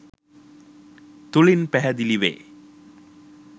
තුළින් පැහැදිලි වේ.